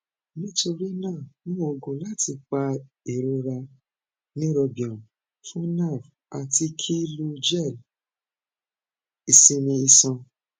nitorina mu oogun lati pa irora neurobion fun nerve ati ki lo gel isinmi iṣan